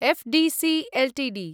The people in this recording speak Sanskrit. FDC Ltd